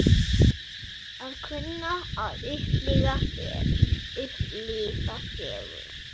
Að kunna að upplifa fegurð?